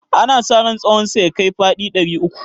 ana sa ran tsahonsa ya kai faɗi ɗari uku